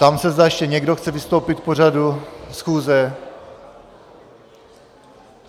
Ptám se, zda ještě někdo chce vystoupit k pořadu schůze.